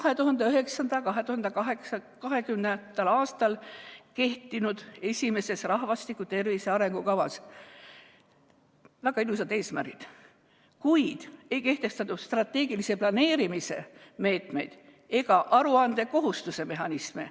2009.–2020. aastal kehtinud esimeses rahvastiku tervise arengukavas olid väga ilusad eesmärgid, kuid ei kehtestatud strateegilise planeerimise meetmeid ega aruandekohustuse mehhanisme.